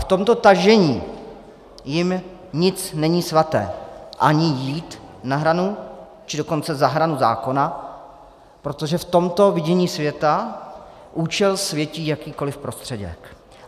V tomto tažení jim nic není svaté, ani jít na hranu, či dokonce za hranu zákona, protože v tomto vidění světa účel světí jakýkoli prostředek.